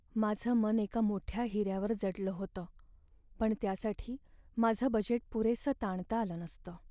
माझं मन एका मोठ्या हिऱ्यावर जडलं होतं, पण त्यासाठी माझं बजेट पुरेसं ताणता आलं नसतं.